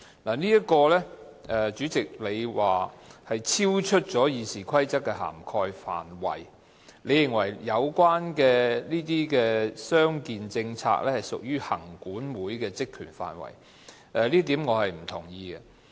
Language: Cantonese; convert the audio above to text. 主席，你表示這項修訂超出了《議事規則》的涵蓋範圍，你認為有關傷健政策屬於立法會行政管理委員會的職權範圍，這點我不同意。